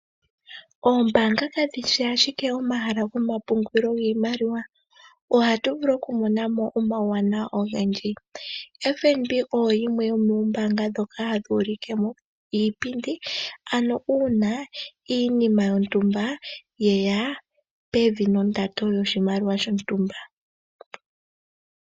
Ombaanga kadhishi ashike omahala gomapungulilo giimaliwa ohatu vulu okumona mo omauwanawa ogendji. FNB oyo yimwe yomombaanga ndhoka hadhi ulikemo iipindi, ano uuna iinima yontumba yeya pevi nondando yoshimaliwa shontumba.